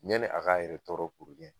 Yani a k'a yɛrɛ tɔɔrɔ